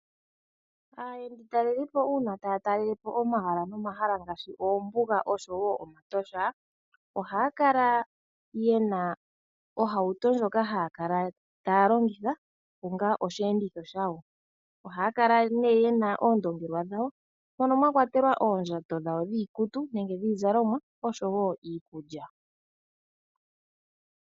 Aayenditalelipo uuna taa talele po omahala ngaashi oombuga osho wo omatosha, ohaya kala ye na ohauto ndjoka haya kala taya longitha onga osheenditho shawo. Ohaya kala nduno ye na oondongelwa dhawo, mono mwa kwatelwa oondjato dhawo dhiikutu nenge dhiizalomwa, osho wo iikulya.